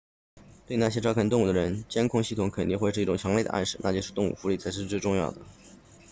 对那些照看动物的人监控系统肯定会是一种强烈的暗示那就是动物福利才是最重要的